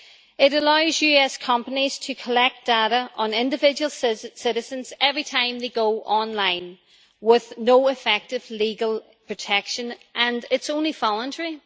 It allows US companies to collect data on individual citizens every time they go online, with no effective legal protection, and it is only voluntary.